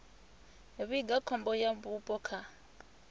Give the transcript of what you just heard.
vhiga khombo ya vhupo kha